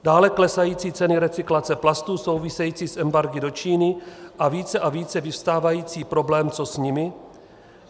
Dále klesající ceny recyklace plastů související s embargy do Číny a více a více vyvstávající problém, co s nimi.